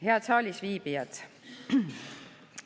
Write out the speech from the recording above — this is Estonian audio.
Head saalis viibijad!